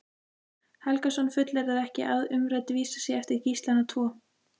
Helgason fullyrðir ekki að umrædd vísa sé eftir Gíslana tvo.